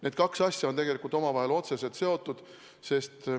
Need kaks asja on tegelikult omavahel otseselt seotud.